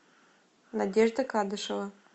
надежда кадышева